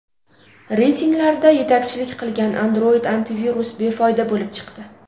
Reytinglarda yetakchilik qilgan Android-antivirus befoyda bo‘lib chiqdi.